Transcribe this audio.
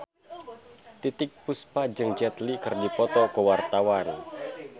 Titiek Puspa jeung Jet Li keur dipoto ku wartawan